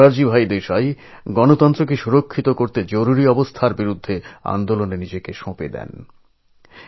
মোরারজীভাই দেশাই এই গণতন্ত্রকে রক্ষা করতেই জরুরী অবস্থার বিরুদ্ধে আন্দোলনে নিজেকে সঁপে দিয়েছিলেন